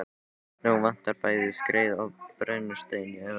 Nú vantar bæði skreið og brennistein í Evrópu.